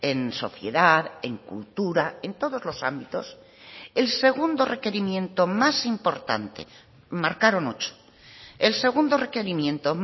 en sociedad en cultura en todos los ámbitos el segundo requerimiento más importante marcaron ocho el segundo requerimiento